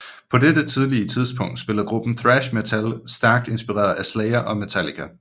På dette tidlige tidspunkt spillede gruppen thrash metal stærkt inspireret af Slayer og Metallica